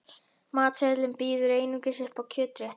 Matseðillinn býður einungis upp á kjötrétti.